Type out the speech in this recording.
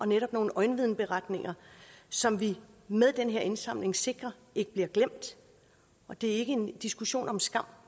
netop nogle øjenvidneberetninger som vi med den her indsamling sikrer ikke bliver glemt og det er ikke en diskussion om skam